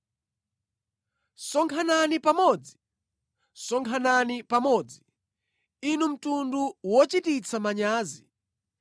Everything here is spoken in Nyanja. Sonkhanani pamodzi, sonkhanani pamodzi, inu mtundu wochititsa manyazi,